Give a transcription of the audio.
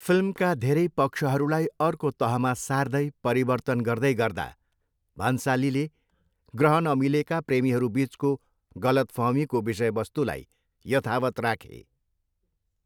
फिल्मका धेरै पक्षहरूलाई अर्को तहमा सार्दै परिवर्तन गर्दै गर्दा, भन्सालीले ग्रह नमिलेकाका प्रेमीहरू बिचको गलतफहमीको विषयवस्तुलाई यथावत राखे।